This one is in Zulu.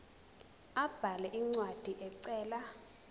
abhale incwadi ecela